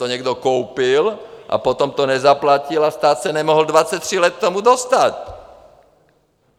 To někdo koupil, potom to nezaplatil a stát se nemohl 23 let k tomu dostat.